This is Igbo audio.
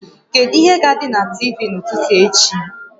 Kedu ihe ga-adị na TV n'ụtụtụ echi?